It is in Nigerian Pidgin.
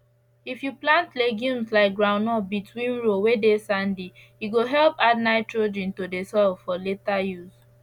if you plant legumes like groundnut between row whey dey sandy e go help add nitrogen to the soil for later use